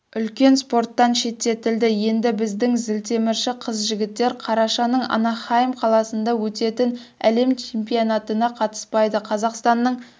үлкен спорттан шеттетілді енді біздің зілтемірші қыз-жігіттер қарашаның анахайм қаласында өтетін әлем чемпионатына қатыспайды қазақстанның